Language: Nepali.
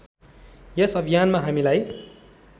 यस अभियानमा हामीलाई